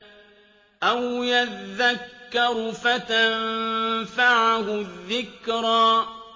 أَوْ يَذَّكَّرُ فَتَنفَعَهُ الذِّكْرَىٰ